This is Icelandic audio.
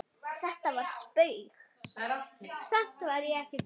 Þetta var spaug